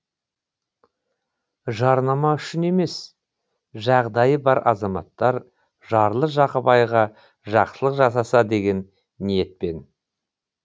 жарнама үшін емес жағдайы бар азаматтар жарлы жақыбайға жақсылық жасаса деген ниетпен